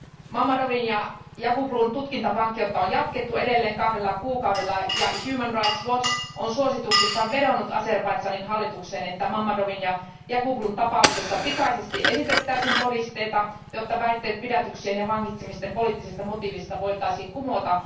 Mammadovin ja Yaqublun tutkintavankeutta on jatkettu edelleen kahdella kuukaudella, ja Human Rights Watch on suosituksissaan vedonnut Azerbaidžanin hallitukseen, että Mammadovin ja Yaqublun tapauksessa pikaisesti esitettäisiin todisteita, jotta väitteet pidätyksien ja vangitsemisten poliittisesta motiivista voitaisiin kumota.